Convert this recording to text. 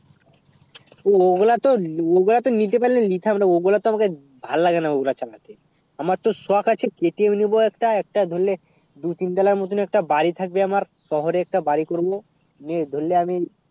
ওগুলা তো ওগুলা তো নিতে পারলে তো নিতাম না ও গুলু তো আমার ভাল লাগে না ও গুলা চালাতে আমার তো সখ আছে KTM নিবো একটা একটা ধরলে দু তিন তোলা মতুন একটা বারী থাকবে আমার শহরে একটা বারী করবো নিয়ে ধরলে আমি